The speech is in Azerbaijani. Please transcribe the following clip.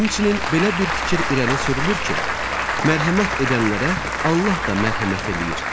Həmçinin belə bir fikir irəli sürülür ki, mərhəmət edənlərə Allah da mərhəmət eləyir.